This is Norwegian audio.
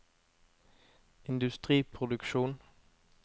industriproduksjon